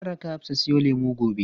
Zan raka Hafsa siyo lemu gobe.